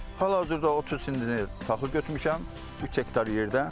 Hal-hazırda 30 sentner taxıl götürmüşəm 3 hektar yerdə.